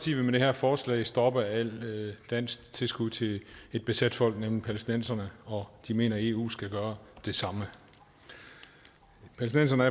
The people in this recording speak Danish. vil med det her forslag stoppe alle danske tilskud til et besat folk nemlig palæstinenserne og de mener at eu skal gøre det samme palæstinenserne